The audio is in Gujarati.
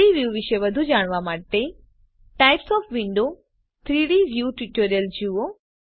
3ડી વ્યુ વિશે વધુ જાણવા માટે વિન્ડોવ્ઝના પ્રકાર 3ડી વ્યુ ટ્યુટોરીયલ જુઓ